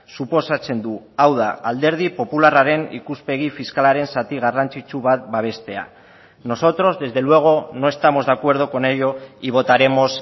suposatzen du hau da alderdi popularraren ikuspegi fiskalaren zati garrantzitsu bat babestea nosotros desde luego no estamos de acuerdo con ello y votaremos